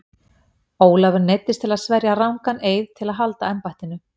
Ólafur neyddist til að sverja rangan eið til að halda embættinu.